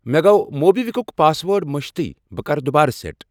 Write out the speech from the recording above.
مےٚ گوٚو موبِکوِکُک پاس ورڈ مٔشِد بہٕ کَرٕ یہِ دُوبارٕ سیٹ۔